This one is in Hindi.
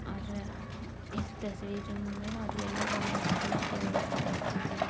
और अम्म इस तस्वीर मे और येल्लो कमर कलर के इमेज मे रखे हुई --